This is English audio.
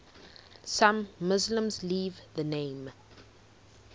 some muslims leave the name